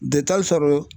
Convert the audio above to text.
sɔrɔ